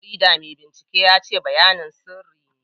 Dan jaridar mai binciken ya ce bayanan sirri ne.